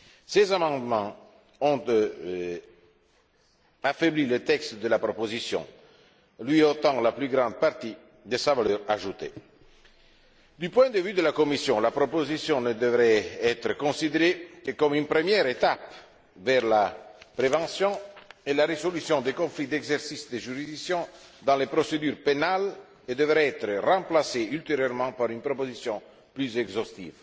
Ces amendements ont affaibli le texte de la proposition, lui ôtant la plus grande partie de sa valeur ajoutée. Du point de vue de la Commission, la proposition ne devrait être considérée que comme une première étape vers la prévention et la résolution des conflits de juridictions dans le cadre des procédures pénales et devrait être remplacée ultérieurement par une proposition plus exhaustive.